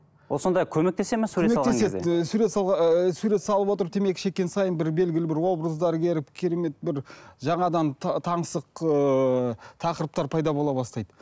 ол сонда көмектесе ме сурет ыыы сурет салып отырып темекі шеккен сайын бір белгілі бір образдар келіп керемет бір жаңадан таңсық ыыы тақырыптар пайда бола бастайды